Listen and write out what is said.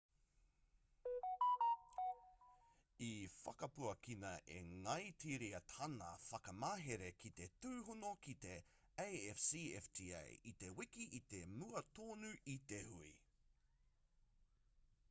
i whakapuakina e ngāitiria tāna whakamahere ki te tūhono ki te afcfta i te wiki i mua tonu i te hui